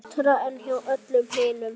Betra en hjá öllum hinum.